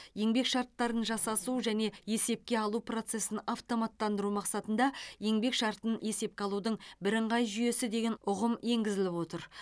еңбек шарттарын жасасу және есепке алу процесін автоматтандыру мақсатында еңбек шартын есепке алудың бірыңғай жүйесі деген ұғым енгізіліп отыр